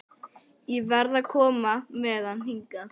Ég varð að koma með hann hingað.